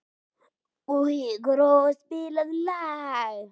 Gróa, spilaðu lag.